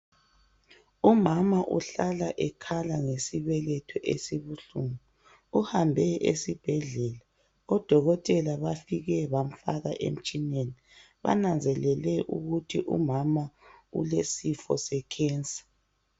umama uhla ekhala ngesibeletho esibuhlungu uhambe esibhedlela odokotela bafike bamfaka emtshineneni bananzelele ukuthi umama ulesifo se cancer